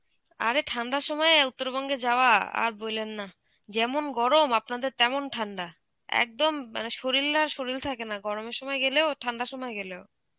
আরে ঠান্ডার সময়ে উত্তরবঙ্গে যাওয়া আর বইলেন না, যেমন গরম আপনাদের তেমন ঠান্ডা. একদম মানে শরীল আর শরীল থাকে না গরমের সময় গেলেও ঠান্ডার সময় গেলেও.